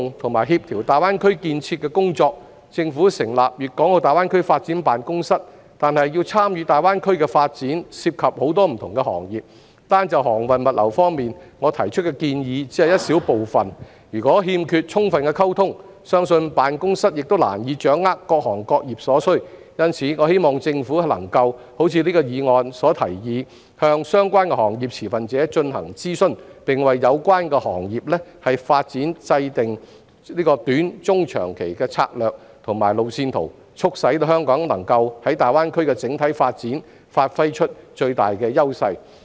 為加強推動和協調大灣區建設的工作，政府成立粵港澳大灣區發展辦公室，但要參與大灣區的發展，涉及很多不同的行業，單就航運物流方面，我提出的建議只是一小部分，如果欠缺充分溝通，相信辦公室亦難以掌握各行各業所需，因此，我希望政府能夠如議案所提議，向相關行業持份者進行諮詢，並為有關行業的發展制訂短、中、長期政策和路線圖，促使香港能夠在大灣區的整體發展發揮最大的優勢。